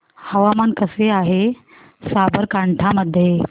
हवामान कसे आहे साबरकांठा मध्ये